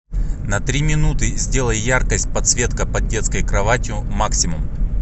на три минуты сделай яркость подсветка под детской кроватью максимум